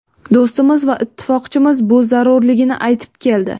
Do‘stimiz va ittifoqchimiz bu zarurligini aytib keldi.